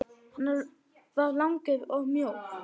Hann var langur og mjór.